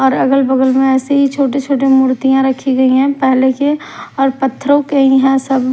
और अगल बगल में ऐसे ही छोटे-छोटे मूर्तियां रखी गई हैं पहले के और पत्थरों के यहां सब--